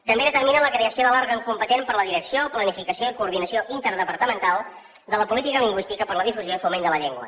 també determina la creació de l’òrgan competent per a la direcció planificació i coordinació interdepartamental de la política lingüística per a la difusió i foment de la llengua